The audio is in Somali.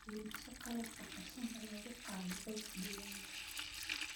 Iibso qalabka qashinka lagu qaado coop digaagga.